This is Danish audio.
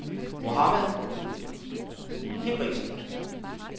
Mohammad Hinrichsen